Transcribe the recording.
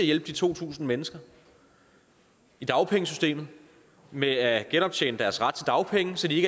hjælpe de to tusind mennesker i dagpengesystemet med at genoptjene deres ret til dagpenge så de